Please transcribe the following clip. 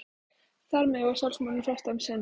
Þar með var sjálfsmorðinu frestað um sinn.